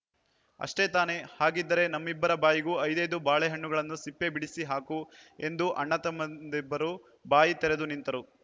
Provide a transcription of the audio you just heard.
ಅಷ್ಟೇ ತಾನೆ ಹಾಗಿದ್ದರೆ ನಮ್ಮಿಬ್ಬರ ಬಾಯಿಗೂ ಐದೈದು ಬಾಳೆಹಣ್ಣುಗಳನ್ನು ಸಿಪ್ಪೆ ಬಿಡಿಸಿ ಹಾಕು ಎಂದು ಅಣ್ಣತಮ್ಮಂದಿರಿಬ್ಬರೂ ಬಾಯಿ ತೆರೆದು ನಿಂತರು